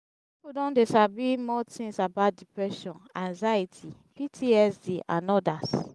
people don dey sabi more things about depression anxiety ptsd and odas